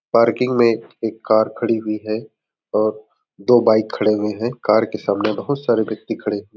Parking में एक car खड़ी हुई है और दो बाइक खड़े हुए है। कार के सामने बहुत सारे व्यक्ति खड़े हुए--